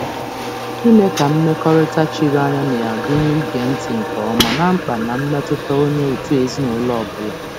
Idozi mmekọrịta chiri anya gụnyere ige ntị nke ọma ná mkpa na mmetụta nke onye ọ bụla n'ezinụlọ.